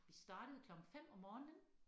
Vi startede klokken 5 om morgenen